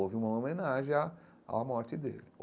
Houve uma homenagem à morte à morte dele.